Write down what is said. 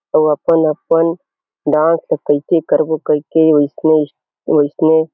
अउ अपन-अपन गाँव के कुलची करबो क अइसने वइसने--